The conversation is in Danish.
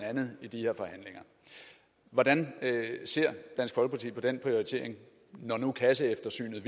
andet i de her forhandlinger hvordan ser dansk folkeparti på den prioritering når nu kasseeftersynet